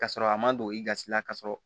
Ka sɔrɔ a man don i gasi la ka sɔrɔ